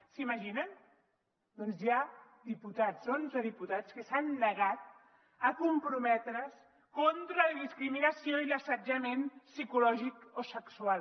s’ho imaginen doncs hi ha diputats onze diputats que s’han negat a comprometre’s contra la discriminació i l’assetjament psicològic o sexual